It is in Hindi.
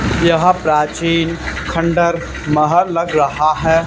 यह प्राचीन खंडहर महल लग रहा हैं।